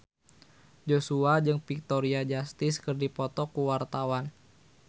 Joshua jeung Victoria Justice keur dipoto ku wartawan